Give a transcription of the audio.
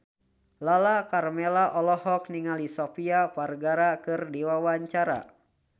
Lala Karmela olohok ningali Sofia Vergara keur diwawancara